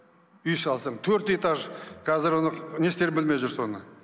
үй салсаң төрт этаж қазір оны не істерін білмей жүр соны